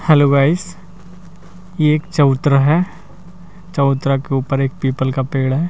Hello guys ये एक चौतरा है चौतरा के ऊपर एक पीपल का पेड़ है।